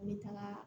N bɛ taga